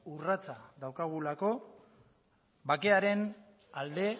urratsa daukagulako bakearen alde